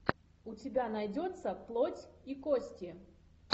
у тебя найдется плоть и кости